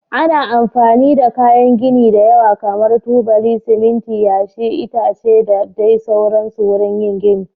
Ana amfani da kayan gini da yawa kamar tubali, siminti, yashi, itace da dai sauransu wurin yin gini.